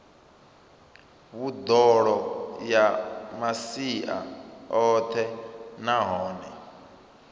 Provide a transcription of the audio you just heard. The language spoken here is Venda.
vhuḓalo ya masia oṱhe nahone